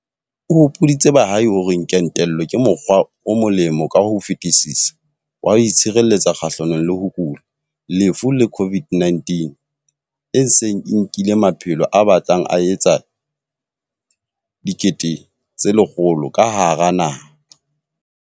O hopoditse baahi hore kentelo ke mokgwa o molemo ka ho fetisisa wa ho itshireletsa kgahlanong le ho kula, lefu le COVID-19, e seng e nkileng maphelo a batlang a etsa 100 000 ka hara naha.